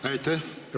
Aitäh!